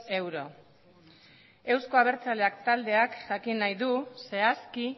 euro euzko abertzaleak taldeak jakin nahi du zehazki